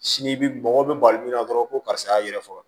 Sini bi bɔgɔ bɛ bali min na dɔrɔn ko karisa y'a yɛrɛ faga